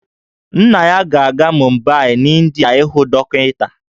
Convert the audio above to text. Nna ya ga-aga Mumbai n'India ịhụ dọkịta